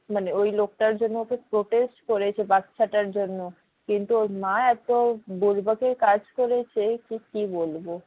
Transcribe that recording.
মানে ওই লোকটার জন্য ওকে protest করেছে বাচ্চাটার জন্য কিন্তু ওর মা এত এর কাজ করেছে যে কি বলবে